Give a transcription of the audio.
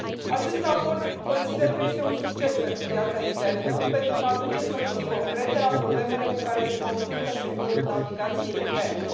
Acest raport consider că este un succes pentru piața internă pentru că aduce soluții concrete la problemele cu care se confruntă sectorul navigației interne.